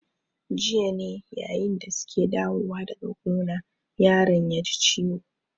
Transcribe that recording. Jiya ne yayin da su ke dawowa daga gona yaron ya ji ciwo.